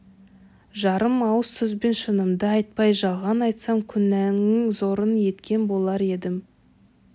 жарым ауыз сөзбен шынымды айтпай жалған айтсам күнәның зорын еткен болар едім